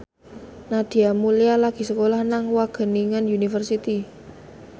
Nadia Mulya lagi sekolah nang Wageningen University